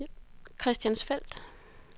Christiansfeld